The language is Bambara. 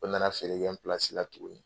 O nana feere kɛ n la tuguni.